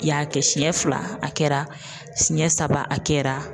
I y'a kɛ siyɛn fila a kɛra siyɛn saba a kɛra.